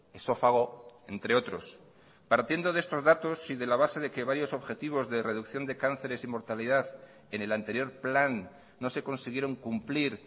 esófago entre otros partiendo de estos datos y de la base de que varios objetivos de reducción de cánceres y mortalidad en el anterior plan no se consiguieron cumplir